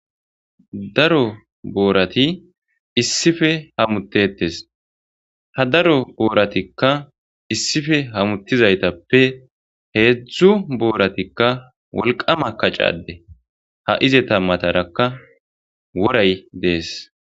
Daro boorati issife hamutetes hadaro booratikka issife hamuttizaytappe heedzdzu booratikka wolqama kacade haize tammatarakka woray dees.